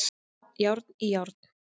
Járn í járn